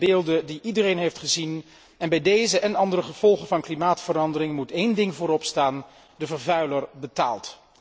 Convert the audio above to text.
Dat zijn beelden die iedereen heeft gezien, en bij deze en andere gevolgen van klimaatverandering moet één ding vooropstaan de vervuiler betaalt.